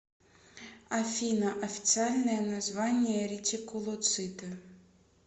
афина официальное название ретикулоциты